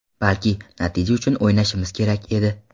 Balki, natija uchun o‘ynashimiz kerak edi.